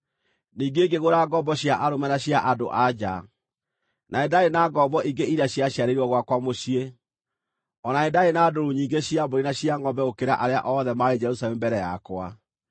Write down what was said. Ningĩ ngĩgũra ngombo cia arũme na cia andũ-a-nja, na nĩ ndaarĩ na ngombo ingĩ iria ciaciarĩirwo gwakwa mũciĩ. O na nĩ ndaarĩ na ndũũru nyingĩ cia mbũri na cia ngʼombe gũkĩra arĩa othe maarĩ Jerusalemu mbere yakwa.